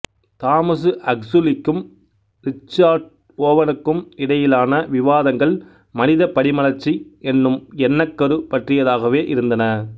Thomas அக்சுலிக்கும் Richard ஓவனுக்கும் இடையிலான விவாதங்கள் மனிதப் படிமலர்ச்சி என்னும் எண்ணக்கரு பற்றியதாகவே இருந்தன